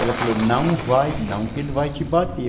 Ela falou, não vai não, que ele vai te bater.